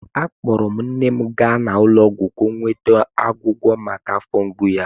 Akpọrọ m nne m gaa ụlọ ọgwụ ka ọ nweta ọgwọgwọ maka afọ mgbu ya.